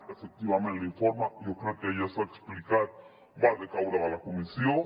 efectivament l’informe jo crec que ja s’ha explicat va decaure de la comissió